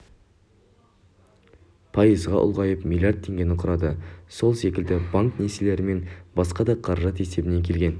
пайызға ұлғайып млрд теңгені құрады сол секілді банк несиелері мен басқа да қаражат есебінен келген